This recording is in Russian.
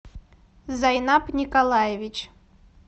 зайнаб николаевич